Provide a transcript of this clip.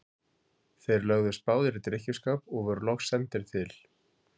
Þeir lögðust báðir í drykkjuskap og voru loks sendir til